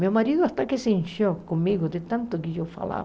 Meu marido até que se encheu comigo de tanto que eu falava.